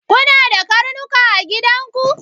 Kuna da karnuka a gidan ku?